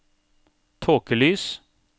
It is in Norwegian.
tåkelys